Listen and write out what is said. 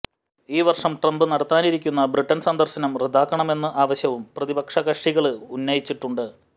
ഈ വര്ഷം ട്രംപ് നടത്താനിരിക്കുന്ന ബ്രിട്ടന് സന്ദര്ശനം റദ്ദാക്കണമെന്ന് ആവശ്യവും പ്രതിപക്ഷകക്ഷികള് ഉന്നയിച്ചിട്ടുണ്ട്